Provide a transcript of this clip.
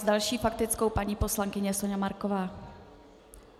S další faktickou paní poslankyně Soňa Marková.